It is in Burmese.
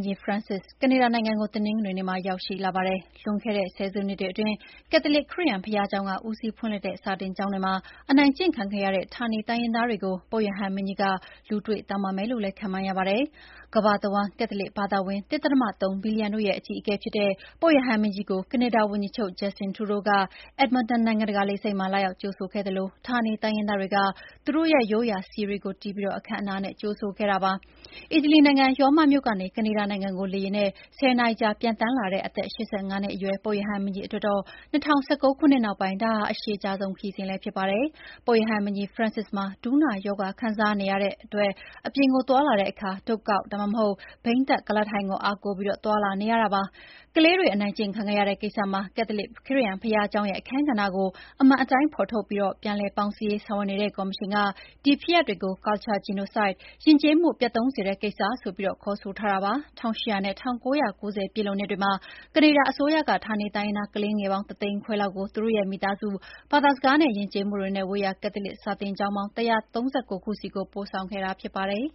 ကြီး Francis ကနေဒါနိုင်ငံကို တနင်္ဂနွေနေ့မှာရောက်ရှိလာပါတယ်။ လွန်ခဲ့တဲ့ ဆယ်စုနှစ်တွေအတွင်း ကက်လလစ်ခရစ်ယာန်ဘုရားကျောင်းက ဦးစီးဖွင့်လှစ်တဲ့ စာသင်ကျောင်းတွေမှာ အနိုင်ကျင့်ခံခဲ့ရတဲ့ ဌာနေတိုင်းရင်းသားတွေကို ပုပ်ရဟန်းမင်းကြီး လူတွေ့ တောင်းပန်မယ်လို့လည်း ခန့်မှန်းရပါတယ်။ ကမ္ဘာတဝှမ်း ကက်သလစ်ဘာသာဝင် ၁.၃ ဘီလီယံတို့ရဲ့ အကြီးအကဲ ဖြစ်တဲ့ ပုပ်ရဟန်းမင်းကြီးကို ကနေဒါဝန်ကြီးချုပ် Justin Trudeau က Edmonton နိုင်ငံတကာလေဆိပ်မှာ လာရောက်ကြိုဆိုခဲ့သလို ဌာနေတိုင်းရင်းသားတွေက သူတို့ရိုးရာစည်တွေတီးပြီး အခမ်းအနားနဲ့ကြိုဆိုခဲ့ကြပါတယ်။ အီတလီနိုင်ငံ ရောမမြို့ကနေ ကနေဒါနိုင်ငံကို လေယာဉ်နဲ့ ၁၀ နာရီကြာပျံသန်းလာတဲ့ အသက် ၈၅ နှစ်အရွယ် ပုပ်ရဟန်းမင်းကြီးအတွက်တော့ ၂၀၁၉ ခုနှစ်နောက်ပိုင်း အရှည်ကြာဆုံးခရီးစဉ်လည်းဖြစ်ပါတယ်။ ပုပ်ရဟန်းမင်းကြီး Francis မှာ ဒူးနာရောဂါခံစားနေရတဲ့အပြင် သွားလာတဲ့အခါ တုတ်ကောက်၊ ဒါမှမဟုတ် ဘီးတပ်ကုလားထိုင်ကို အားကိုးပြီး သွားလာနေရတာဖြစ်ပါတယ်။ ကလေးတွေ အနိုင်ကျင့်ခံရတဲ့ကိစ္စမှာ ကက်သလစ်ခရစ်ယာန်ဘုရားကျောင်းရဲ့ အခန်းကဏ္ဍကို အမှန်အတိုင်းဖော်ထုတ်ပြီး ပြန်လည်ပေါင်းစည်းရေး ဆောင်ရွက်နေတဲ့ ကော်မရှင်က အဲဒီဖြစ်ရပ်တွေကို “cultural genocide” ယဉ်ကျေးမှု ပျက်သုန်းစေတဲ့ကိစ္စ ဆိုပြီး ခေါ်ဆိုထားပါတယ်။ ၁၈၀၀ နဲ့ ၁၉၉၀ ပြည့်လွန်နှစ်တွေမှာ ကနေဒါအစိုးရက ဌာနေတိုင်းရင်းသား ကလေးငယ်ပေါင်း ၁ သိန်းခွဲလောက်ကို သူတို့ရဲ့ မိသားစု၊ ဘာသာစကားနဲ့ယဉ်ကျေးမှုတွေနဲ့ ဝေးရာ ကက်သလစ် စာသင်ကျောင်းပေါင်း ၁၃၉ ခုဆီကို ပို့ခဲ့တာဖြစ်ပါတယ်